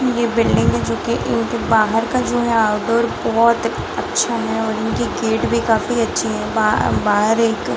ये बिल्डिंग है जो इनके बाहर का जो है आउटडोर बहुत अच्छा है और इनके गेट भी काफी अच्छे है बा बाहर एक --